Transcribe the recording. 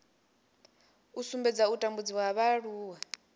u sumbedza u tambudziwa ha vhaaluwa